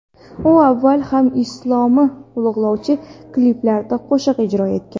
U avval ham islomni ulug‘lovchi kliplarda qo‘shiq ijro etgan.